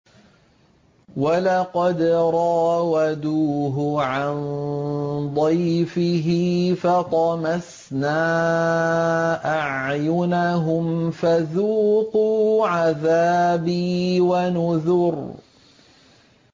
وَلَقَدْ رَاوَدُوهُ عَن ضَيْفِهِ فَطَمَسْنَا أَعْيُنَهُمْ فَذُوقُوا عَذَابِي وَنُذُرِ